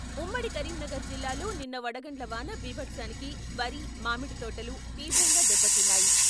ఉమ్మడి కరీంనగర్ జిల్లాలో నిన్న వడగండ్ల వాన బీభత్సానికి వరి, మామిడితోటలు తీవ్రంగా దెబ్బతిన్నాయి.